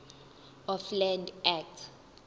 of land act